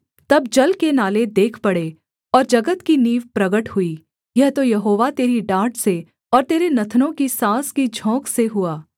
तब जल के नाले देख पड़े और जगत की नींव प्रगट हुई यह तो यहोवा तेरी डाँट से और तेरे नथनों की साँस की झोंक से हुआ